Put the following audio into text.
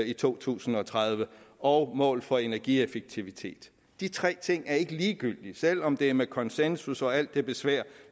i to tusind og tredive og mål for energieffektivitet de tre ting er ikke ligegyldige selv om det er med konsensus og alt det besvær